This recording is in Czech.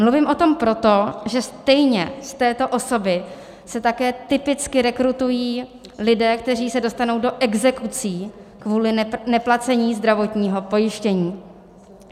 Mluvím o tom proto, že stejně z této osoby se také typicky rekrutují lidé, kteří se dostanou do exekucí kvůli neplacení zdravotního pojištění.